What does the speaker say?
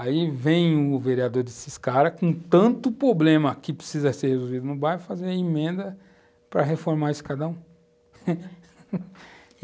Aí vem o vereador desses caras, com tanto problema que precisa ser resolvido no bairro, fazer a emenda para reformar esse cadão.